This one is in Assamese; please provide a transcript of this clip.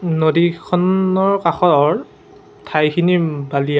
নদী খন্নৰ কাষৰ ঠাইখিনি উম বালিয়া।